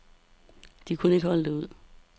De kunne ikke holde det ud.